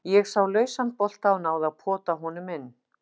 Ég sá lausan bolta og náði að pota honum inn.